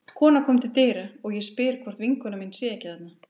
Kona kom til dyra og ég spyr hvort vinkona mín sé ekki þarna.